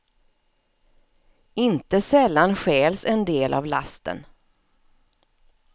Inte sällan stjäls en del av lasten.